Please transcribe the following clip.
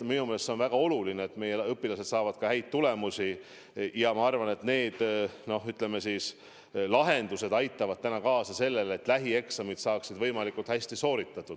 Minu meelest on väga oluline, et meie õpilased saavad häid tulemusi, ja ma arvan, et need lahendused aitavad kaasa sellele, et eksamid saaksid võimalikult hästi sooritatud.